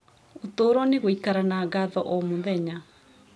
Ũtũũro nĩ gũikara na ngatho o mũthenya.